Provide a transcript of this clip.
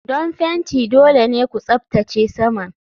Don fenti dole ne ku tsaftace saman.